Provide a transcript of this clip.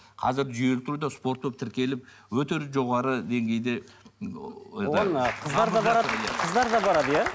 қазір жүйелі түрде спорт болып тіркеліп өте жоғары деңгейде ы оған ы қыздар да барады қыздар да барады иә